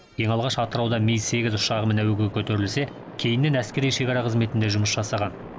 ең алғаш атырауда ми сегіз ұшағымен әуеге көтерілсе кейіннен әскери шекара қызметінде жұмыс жасаған